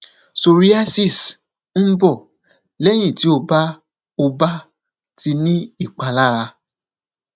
psoriasis n bọ lẹyìn tí o bá o bá ti ní ìpalára